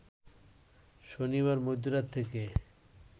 শনিবার মধ্যরাত থেকে